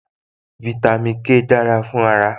Fáítámì K dára fún ara